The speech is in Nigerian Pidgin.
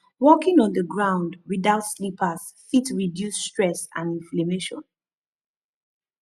walking on di ground without slippers fit reduce stress and inflammation